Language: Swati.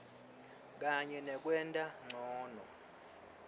kanye nekwenta ncono